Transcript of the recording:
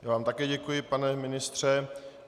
Já vám také děkuji pane ministře.